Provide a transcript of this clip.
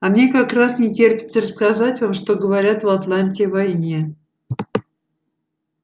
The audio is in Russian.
а мне как раз не терпится рассказать вам что говорят в атланте о войне